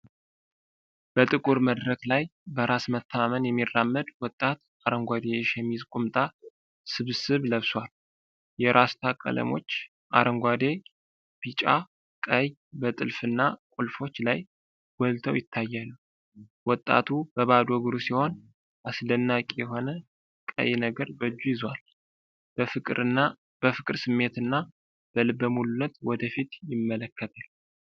በጥቁር መድረክ ላይ፣ በራስ መተማመን የሚራመድ ወጣት አረንጓዴ የሸሚዝ-ቁምጣ ስብስብ ለብሷል። የራስታ ቀለሞች (አረንጓዴ፣ ቢጫ፣ ቀይ) በጥልፍና ቁልፎች ላይ ጎልተው ይታያሉ። ወጣቱ በባዶ እግሩ ሲሆን፣ አስደናቂ የሆነ ቀይ ነገር በእጁ ይዟል። በፍቅር ስሜትና በልበ ሙሉነት ወደ ፊት ይመለከታል።